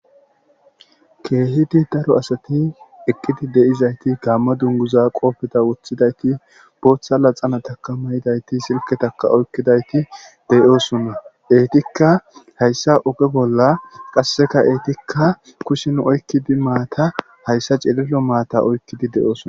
Keehidi daro asati eqqidi deizayti gaamma dunguza qoofeta wothidayti bootha laxana takamayidayti silketaka oykkidayti deyoosunna eetikka hayssa oge bolla qasseka eetikka kushin oykkidi maata hayssa celilo maata oykkidi de7oosona